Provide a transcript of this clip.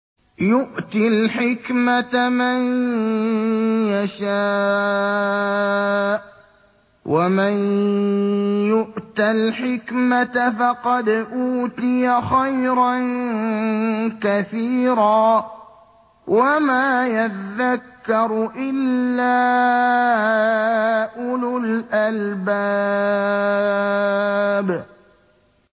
يُؤْتِي الْحِكْمَةَ مَن يَشَاءُ ۚ وَمَن يُؤْتَ الْحِكْمَةَ فَقَدْ أُوتِيَ خَيْرًا كَثِيرًا ۗ وَمَا يَذَّكَّرُ إِلَّا أُولُو الْأَلْبَابِ